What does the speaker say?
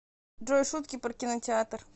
джой шутки про кинотеатр